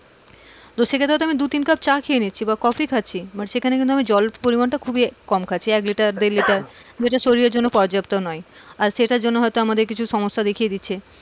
তো সেখানে আমি হয়তো দু তিন কাপ চা খেয়ে নিচ্ছি না বা কফি খাচ্ছি সেখানে কিন্তু জলের পরিমানটা খুবই কম খাচ্ছি এক লিটার দেড় লিটার যেইটা শরীরের জন্যে পরিযাপ্ত নোই আর সেইটা জন্যে আমাদের হয়তো কিছু সমস্যা দেখিয়ে দিচ্ছে,